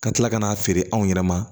Ka tila ka n'a feere anw yɛrɛ ma